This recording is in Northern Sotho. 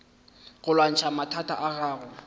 go lwantšha mathata a gago